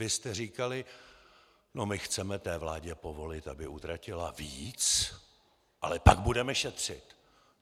Vy jste říkali: "No, my chceme té vládě povolit, aby utratila víc, ale pak budeme šetřit."